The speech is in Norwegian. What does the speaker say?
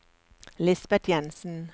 Lisbeth Jenssen